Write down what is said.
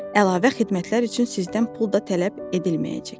Əlavə xidmətlər üçün sizdən pul da tələb edilməyəcək.